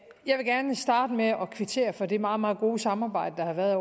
jeg vil gerne starte med at kvittere for det meget meget gode samarbejde der har været